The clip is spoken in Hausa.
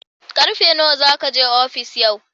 Ƙarfe nawa za ka je ofis yau?